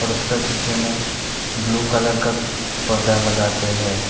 उसका पीछे में ब्लू कलर का पर्दा लगा के हैं।